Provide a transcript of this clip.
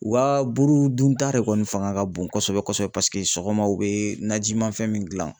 O ka buru dunta de kɔni fanga ka bon kosɛbɛ kosɛbɛ paseke sɔgɔma u bɛ najimafɛn min dilan.